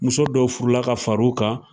Muso dɔw furu la ka fariw kan.